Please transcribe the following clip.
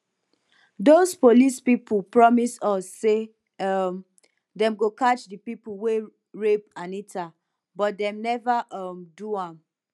doz police people promise us say um dem go catch the people wey rape anita but dem never um do am